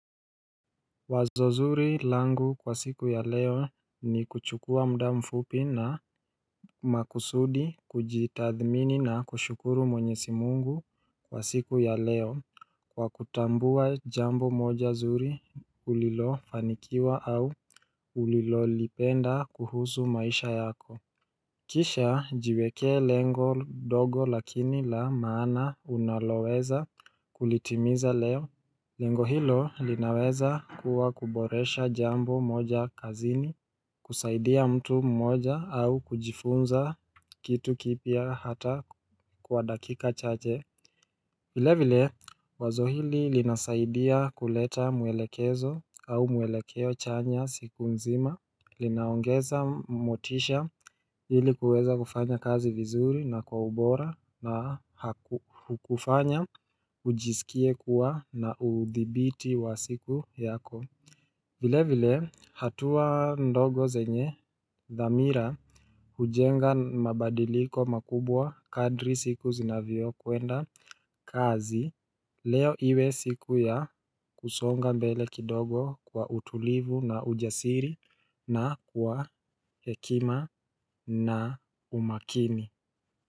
Wazo zuri langu kwa siku ya leo ni kuchukua muda mfupi na makusudi kujitathimini na kushukuru mwenyezi Mungu kwa siku ya leo kwa kutambua jambo moja zuri ulilofanikiwa au ulilolipenda kuhuzu maisha yako Kisha jiwekee lengo dogo lakini la maana unaloweza kulitimiza leo Lengo hilo linaweza kuwa kuboresha jambo moja kazini. Kusaidia mtu mmoja au kujifunza kitu kipya hata kwa dakika chache vile vile wazo hili linasaidia kuleta muelekezo au muelekeo chanya siku nzima linaongeza motisha ili kuweza kufanya kazi vizuri na kwa ubora na kukufanya ujisikie kuwa na udhibiti wa siku yako vile vile hatua ndogo zenye dhamira hujenga mabadiliko makubwa, kadri siku zinavyokwenda kazi Leo iwe siku ya kusonga mbele kidogo kwa utulivu na ujasiri na kwa hekima na umakini.